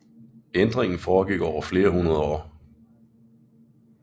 Ændringen foregik over flere hundrede år